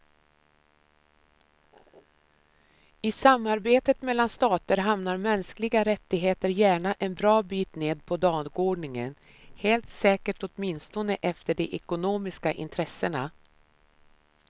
I samarbetet mellan stater hamnar mänskliga rättigheter gärna en bra bit ned på dagordningen, helt säkert åtminstone efter de ekonomiska intressena.